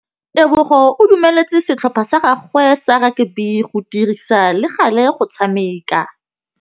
Tebogô o dumeletse setlhopha sa gagwe sa rakabi go dirisa le galê go tshameka.